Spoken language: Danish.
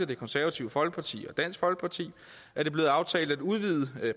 det konservative folkeparti og dansk folkeparti er det blevet aftalt at udvide